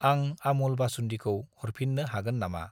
आं आमुल बासुन्दिखौ हरफिन्नो हागोन नामा?